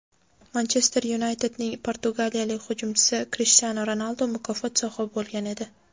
"Manchester Yunayted"ning portugaliyalik hujumchisi Krishtianu Ronaldu mukofot sohibi bo‘lgan edi.